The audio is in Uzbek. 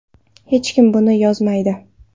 Hech kim buni yozmaydi.